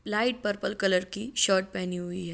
Light purple colour की shirt पहनी हुई है।